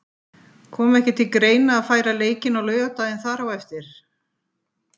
Kom ekki til greina að færa leikinn á laugardaginn þar á eftir?